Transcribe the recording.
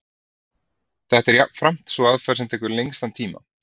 Þetta er jafnframt sú aðferð sem tekur lengstan tíma.